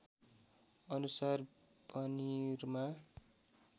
अनुसार पनिरमा